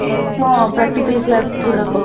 ହଁ, practical class ଯୋଉ ଗୁଡ଼ାକ